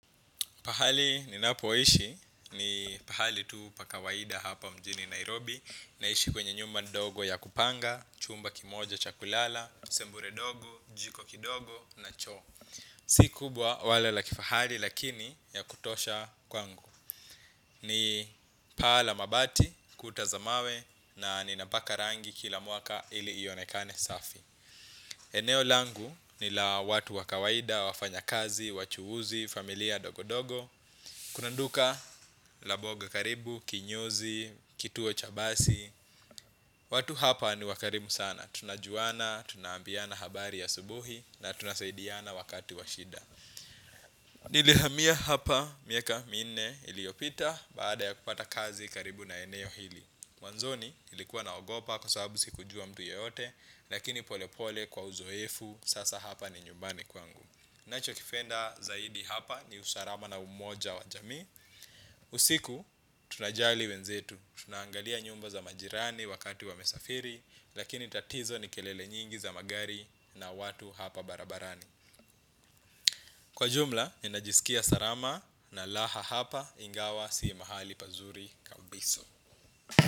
Pahali nina poishi ni pahali tuu paa kawaida hapa mjini Nairobi. Naishi kwenye nyumba ndogo ya kupanga, chumba kimoja chakulala, sebule dogo, jiko kidogo na choo. Si kubwa wala lakifahari lakini ya kutosha kwangu. Ni pahala mabati, kutazamawe na ninapaka rangi kila mwaka ili ionekane safi. Eneo langu ni la watu wakawaida, wafanya kazi, wachuhuzi, familia dogo dogo. Kuna duka la mboga karibu, kinyozi, kituo cha basi. Watu hapa ni wakarimu sana. Tunajuana, tunaambiana habari ya asubuhi na tunasaidiana wakati washida. Nili hamiya hapa miaka minne iliyopita. Baada ya kupata kazi karibu na eneo hili. Mwanzoni nilikuwa na ogopa kwa sababu si kujua mtu yeyote. Lakini pole pole kwa uzoefu. Sasa hapa ni nyumbani kwangu. Nacho kipenda zaidi hapa ni usalama na umoja wa jamii. Usiku, tunajali wenzetu. Tunaangalia nyumba za majirani wakati wamesafiri. Lakini tatizo ni kelele nyingi za magari na watu hapa barabarani. Kwa jumla, ninajisikia salama na raha hapa ingawa sii mahali pazuri kabisa.